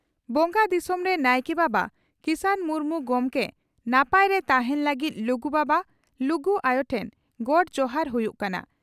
ᱵᱚᱸᱜᱟ ᱫᱤᱥᱚᱢᱨᱮ ᱱᱟᱭᱠᱮ ᱵᱟᱵᱟ ᱠᱤᱥᱟᱱ ᱢᱩᱨᱢᱩ ᱜᱚᱢᱠᱮ ᱱᱟᱯᱟᱭᱨᱮ ᱛᱟᱦᱮᱸᱱ ᱞᱟᱹᱜᱤᱫ ᱞᱩᱜᱩ ᱵᱟᱵᱟ, ᱞᱩᱜᱩ ᱟᱭᱚ ᱴᱷᱮᱱ ᱜᱚᱰ ᱡᱚᱦᱟᱨ ᱦᱩᱭᱩᱜ ᱠᱟᱱᱟ ᱾